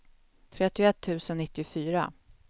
trettioett tusen nittiofyra